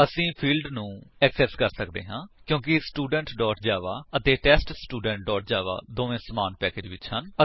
ਅਸੀ ਫਿਲਡ ਨੂੰ ਐਕਸੇਸ ਕਰ ਸੱਕਦੇ ਹਾਂ ਕਿਉਂਕਿ ਸਟੂਡੈਂਟ ਜਾਵਾ ਅਤੇ ਟੈਸਟਸਟੂਡੈਂਟ ਜਾਵਾ ਦੋਵੇ ਸਮਾਨ ਪੈਕੇਜ ਵਿੱਚ ਹਨ